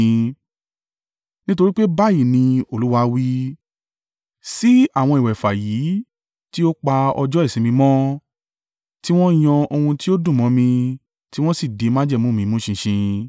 Nítorí pé báyìí ni Olúwa wí: “Sí àwọn ìwẹ̀fà yìí tí ó pa ọjọ́ ìsinmi mi mọ́, tí wọ́n yan ohun tí ó dùn mọ́ mi tí wọ́n sì di májẹ̀mú mi mú ṣinṣin